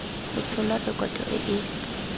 go tshola rekoto e e